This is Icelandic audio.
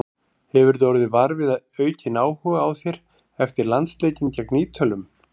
Hefurðu orðið var við aukinn áhuga á þér eftir landsleikinn gegn Ítölum?